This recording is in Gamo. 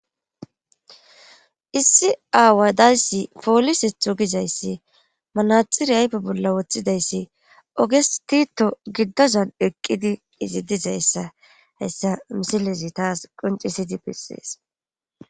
issi aawa dayssi poolisetho gizayssi manaxiri ayfe bolla woththidayssi oges tito giddozan eqqidi izi dizayssa hessa misilezi taas qoncisidi bissees